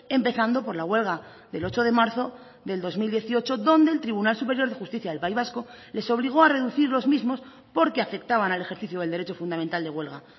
empezando por la huelga del ocho de marzo del dos mil dieciocho donde el tribunal superior de justicia del país vasco les obligó a reducir los mismos porque afectaban al ejercicio del derecho fundamental de huelga